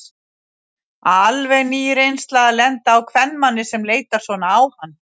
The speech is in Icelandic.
Alveg ný reynsla að lenda á kvenmanni sem leitar svona á hann.